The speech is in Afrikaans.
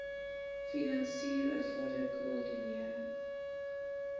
finansier bevorder koördineer